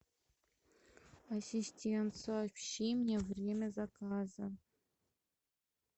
ассистент сообщи мне время заказа